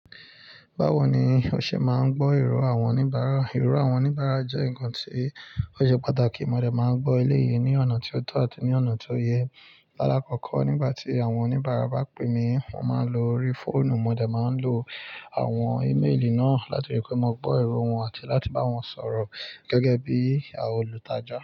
Báwo ni o ṣe máa ń gbọ́ irò àwọn oníbàárà? Irọ àwọn oníbàárà jẹ́ ǹkan tí ó ṣe pàtàkì. Mo dẹ̀ máa ń gbọ́ eléyìí ní ọ̀nà tí ó tọ́ àti ní ọ̀nà tí ó yẹ. Lálá kọ̀ọ̀kọ́ nígbà tí àwọn oníbàárà bá pè mí, mo máa ń lo orí fóònù, mo dẹ̀ máa ń lo àwọn íméèlì náà láti wípé mo gbọ́ irò wọn àti láti bá wọn sọ̀rọ̀ gẹ́gẹ́ bí olùtajà.